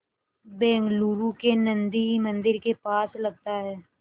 बेंगलूरू के नन्दी मंदिर के पास लगता है